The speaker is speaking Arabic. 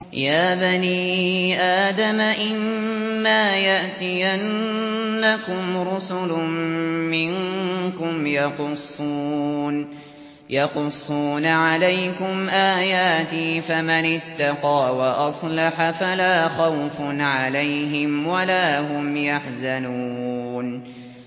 يَا بَنِي آدَمَ إِمَّا يَأْتِيَنَّكُمْ رُسُلٌ مِّنكُمْ يَقُصُّونَ عَلَيْكُمْ آيَاتِي ۙ فَمَنِ اتَّقَىٰ وَأَصْلَحَ فَلَا خَوْفٌ عَلَيْهِمْ وَلَا هُمْ يَحْزَنُونَ